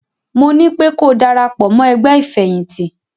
Mo nípé ko darapọ̀ mọ́ ẹgbẹ́ ìfẹ̀yìntì!